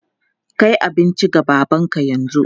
Kai abinci ga babanka yanzu!